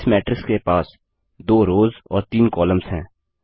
इस मैट्रिक्स के पास 2 रोव्ज़ और 3 कॉलम्स है